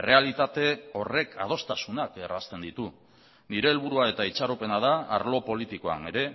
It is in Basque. errealitate horrek adostasunak errazten ditu nire helburua eta itxaropena da arlo politikoan ere